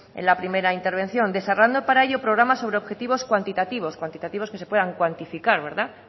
en la primera intervención desarrollando para ello programas sobre objetivos cuantitativos cuantitativos que se puedan cuantificar verdad